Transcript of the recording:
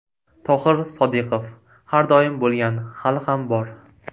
Tohir Sodiqov: Har doim bo‘lgan, hali ham bor.